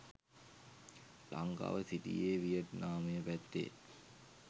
ලංකාව සිටියේ වියට්නාමය පැත්තේ